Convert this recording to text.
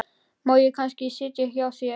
Má ég kannski sitja í hjá þér þangað upp eftir?